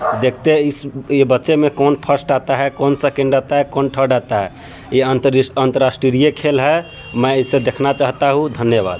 --देखते है इस ये बच्चे में कोन फ़र्स्ट आता है कोन सेकंड आता है कोन थर्ड आता हैं ये अतरराष्ट्रीय खेल है मै इसे देखना चाहता हूं धन्यवाद।